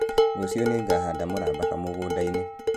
Rũciũ nĩngahanda mũramba kamũgũnda-inĩ